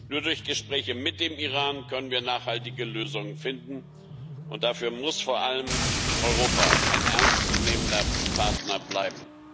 Nur durch Gespräche mit dem Iran können wir nachhaltige Lösungen finden, und dafür muss vor allem Europa ein ernst zu nehmender Partner bleiben.